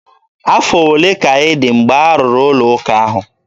Afọ ole ka ị dị mgbe arụrụ ụlọ ụka ahụ?